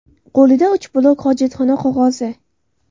Qo‘lida uch blok hojatxona qog‘ozi.